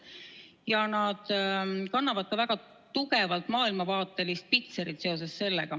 Seoses sellega kannavad need ka väga tugevat maailmavaatelist pitserit.